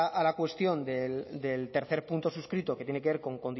a la cuestión del tercer punto suscrito que tiene que ver con